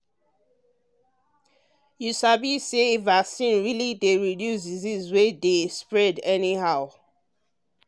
you um sabi say vaccine really dey reduce disease wey dey um spread anyhow. um